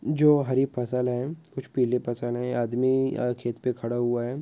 जो हारी फसाल हे कुछ पीले फसाल हे ए आदमी-- या खेत पे खड़ा हुआ हे।